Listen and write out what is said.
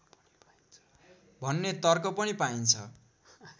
भन्ने तर्क पनि पाइन्छ